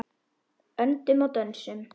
Öndum og dönsum.